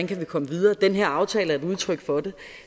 kan komme videre den her aftale er et udtryk for det